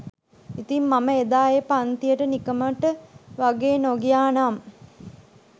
ඉතිං මම එදා ඒ පන්තියට නිකමට වගේ නොගියා නම්